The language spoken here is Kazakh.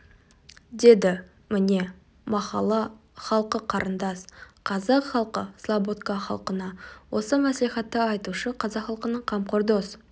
деді міне махалла халқы қарындас қазақ халқы слободка халқына осы мәслихатты айтушы қазақ халқының қамқор дос